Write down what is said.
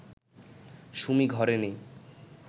সুমি ঘরে নেই